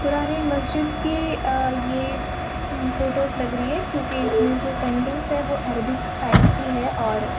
पुरानी मस्जिद की अ यह फोटोस लग रही है क्यूकी इसमें जो पेंटिंगस है वो एरबिक स्टाइल की है और --